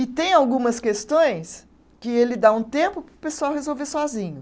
E tem algumas questões que ele dá um tempo para o pessoal resolver sozinho.